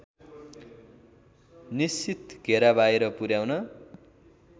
निश्चित घेराबाहिर पुर्‍याउन